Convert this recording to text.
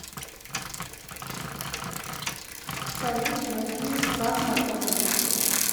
салют найди фрагма тока ми